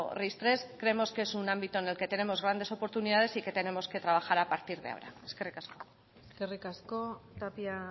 ris tres creemos que es un ámbito en el que tenemos grandes oportunidades y que tenemos que trabajar a partir de ahora eskerrik asko eskerrik asko tapia